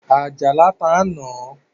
Àjàlá ta ń na